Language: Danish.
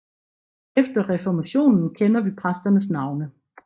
Efter reformationen kender vi præsternes navne